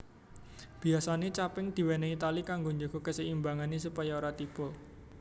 Biyasane caping diwenehi tali kanggo njaga keseimbangane supaya ora tiba